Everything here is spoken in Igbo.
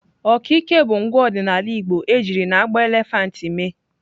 Okike bụ ngwa ọdịnala igbo ejiri n'agba elephant mee.